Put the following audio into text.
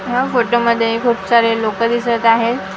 ह्या फोटोमध्ये खूप सारे लोकं दिसत आहेत .